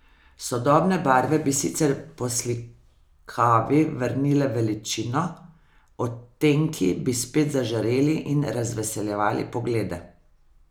Sodobne barve bi sicer poslikavi vrnile veličino, odtenki bi spet zažareli in razveseljevali poglede.